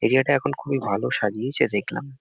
Area -টা এখন খুবই ভালো সাজিয়েছে দেখলাম।